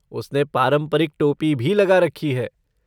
उसने पारंपरिक टोपी भी लगा रखी है।